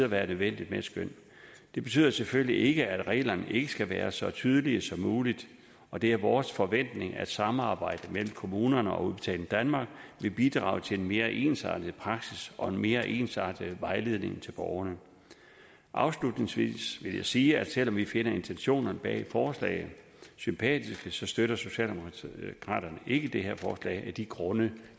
være nødvendigt med et skøn det betyder selvfølgelig ikke at reglerne ikke skal være så tydelige som muligt og det er vores forventning at samarbejdet mellem kommunerne og udbetaling danmark vil bidrage til en mere ensartet praksis og en mere ensartet vejledning til borgerne afslutningsvis vil jeg sige at selv om vi finder intentionerne bag forslaget sympatiske støtter socialdemokraterne ikke det her forslag af de grunde